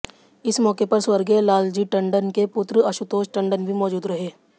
इस मौके पर स्वर्गीय लालजी टंडन के पुत्र आशुतोष टंडन भी मौजूद रहे